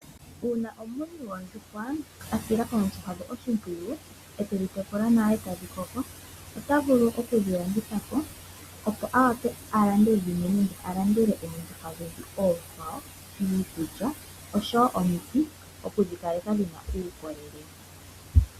Uuna omuntu amunu oondjuhwa, ano asila oondjuhwa dhaye oshimpiyu, etedhi tekula nawa, etadhi koko. Ota vulu okudhi landithapo opo a vule alande dhimwe nenge alandele oondjuhwa onkwawo iikulya , osho woo omiti, okudhi kaleka dhina uukolele